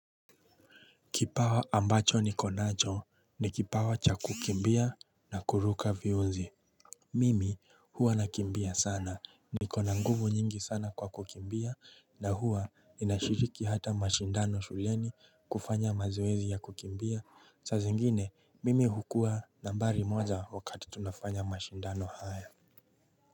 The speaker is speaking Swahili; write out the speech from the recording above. Kipawa ambacho nikonacho ni kipawa cha kukimbia na kuruka viunzi Mimi huwa nakimbia sana nikona nguvu nyingi sana kwa kukimbia na huwa ninashiriki hata mashindano shuleni kufanya mazwezi ya kukimbia, Sazingine mimi hukuwa nambari moja wakati tunafanya mashindano haya.